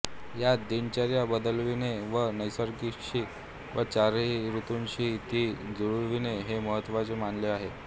यात दिनचर्या बदलविणे व निसर्गाशी व चारही ऋतूंशी ती जुळविणे हे महत्त्वाचे मानले आहे